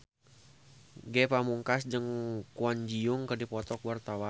Ge Pamungkas jeung Kwon Ji Yong keur dipoto ku wartawan